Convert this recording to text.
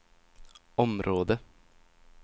område